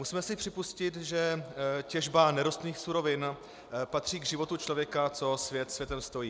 Musíme si připustit, že těžba nerostných surovin patří k životu člověka, co svět světem stojí.